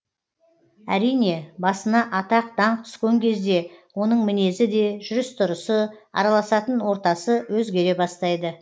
әрине басына атақ даңқ түскен кезде оның мінезі де жүріс тұрысы араласатын ортасы өзгере бастайды